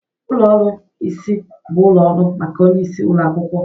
Ụlọ ọrụ isi bụ ụlọ ọrụ maka onye isi ụlọ akwụkwọ